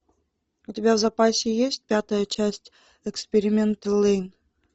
у тебя в запасе есть пятая часть эксперименты лэйн